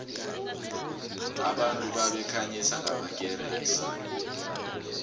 abantu babekhanyisa ngamakeresi